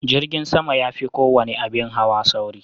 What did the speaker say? Jirgin sama ya fi kowane abin hawa sauri.